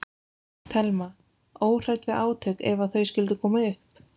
Telma: Óhrædd við átök ef að þau skyldu koma upp?